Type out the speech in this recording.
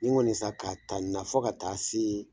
Nin kɔni sa ka ta nin na fo ka taa se